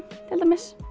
til dæmis